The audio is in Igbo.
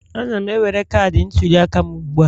Ana m ewere cadi ntuliaka m ugbu a